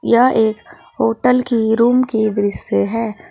यह एक होटल की रूम की दृश्य है।